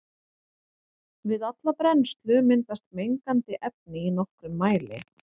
Við alla brennslu myndast mengandi efni í nokkrum mæli.